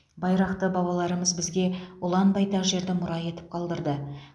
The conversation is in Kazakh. байрақты бабалармыз бізге ұлан байтақ жерді мұра етіп қалдырды